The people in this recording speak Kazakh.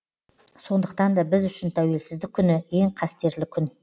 сондықтан да біз үшін тәуелсіздік күні ең қастерлі күн